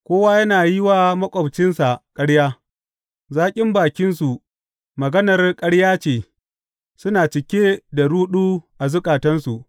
Kowa yana yi wa maƙwabcinsa ƙarya; zaƙin bakinsu maganar ƙarya ce suna cike da ruɗu a zukatansu.